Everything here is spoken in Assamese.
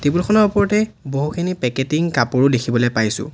ফটো খনৰ ওপৰতেই বহুখিনি পেকেটিং কাপোৰো দেখিবলে পাইছোঁ।